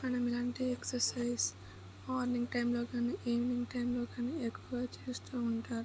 మనము ఇలాంటి exercises morning time లో గానిఈవినింగ్ టైం లో గాని ఎక్కువగా చేస్తూ ఉంటా--